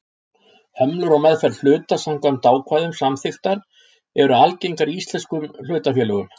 Hömlur á meðferð hluta samkvæmt ákvæðum samþykkta eru algengar í íslenskum hlutafélögum.